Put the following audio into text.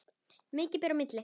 Mikið ber í milli.